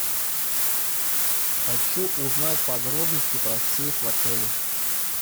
хочу узнать подробности про сейф в отеле